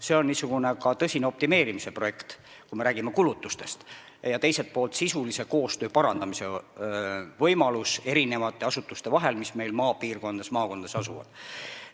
See on ka tõsine optimeerimise projekt, kui me räägime kulutustest, ja teiselt poolt on see võimalus parandada maakondades asuvate asutuste sisulist koostööd.